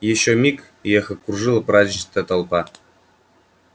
ещё миг и их окружила праздничная толпа